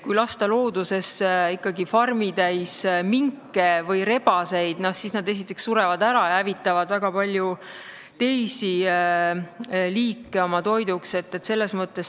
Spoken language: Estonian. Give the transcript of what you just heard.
Kui lasta loodusesse ikkagi farmitäis minke või rebaseid, siis nad surevad ära ja hävitavad oma toiduks ka paljusid teisi liike.